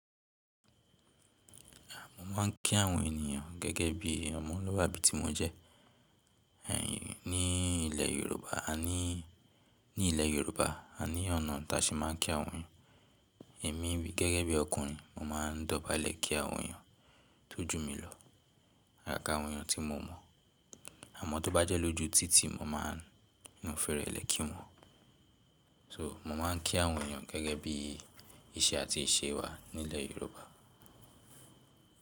Mọ́ máa ń kí àwọn ènìyàn gẹ́gẹ́ bí ọmọlúwàbí tí mo jẹ́. Ní ilẹ̀ Yorùbá a níí, ní ilẹ̀ Yorùbá a ní ọ̀nà ta ṣe máa ń kí àwọn èèyàn. Èmi gẹ́gẹ́ bí ọkùnrin mo máa ń dọ̀bálẹ̀ kí àwọn èèyàn tó jù mí lọ àgága àwọn èyàn tí mo mọ̀. Àmọ́ tó bá jẹ́ lójú títì mo máa ń fi rẹ̀lẹ́ kí wọn. So, mo máa ń kí àwọn èyàn gẹ́gẹ́ bí iṣẹ́ àti ìṣe wá nílẹ̀ Yorùbá.